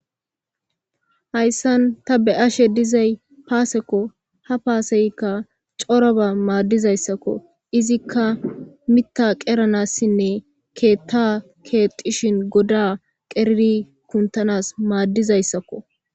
hayssan ta be7ashe dizay paasekko ha paaseykka coroba maaddizayssakko izikka mita qeranassinne keetta keexishin goda qeriri kuntanas maaddizayssakko